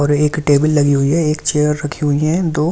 एक टेबल लगी हुए हैं एक चेयर राखी हुए हैं दो--